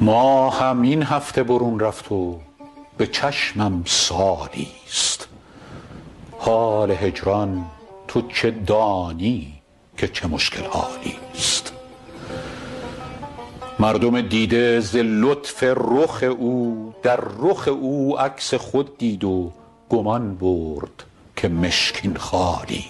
ماهم این هفته برون رفت و به چشمم سالی ست حال هجران تو چه دانی که چه مشکل حالی ست مردم دیده ز لطف رخ او در رخ او عکس خود دید گمان برد که مشکین خالی